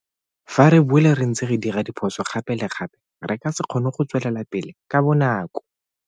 Fa re boele re ntse re dira phoso gape le gape re ka se kgone go tswelela pele ka bonako.